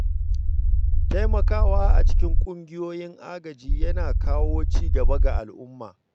Taimakawa a cikin ƙungiyoyin agaji yana kawo ci gaba ga al’umma.